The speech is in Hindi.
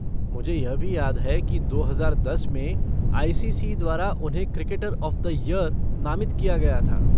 मुझे यह भी याद है कि दो हज़ार दस में आई सी सी द्वारा उन्हें 'क्रिकेटर ऑफ़ द ईयर' नामित किया गया था।